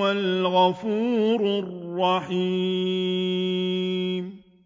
هُوَ الْغَفُورُ الرَّحِيمُ